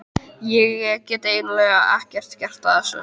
Ég get eiginlega ekkert gert að þessu.